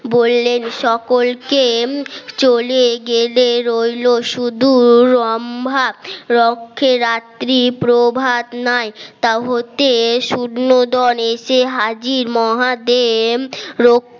বললেন সকলকে চলে গেলে রইল শুধু লম্বা রক্ষে রাত্রি প্রভাত নয় তা হতে শূন্য দোনে যে হাজির মহাদেব